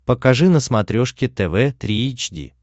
покажи на смотрешке тв три эйч ди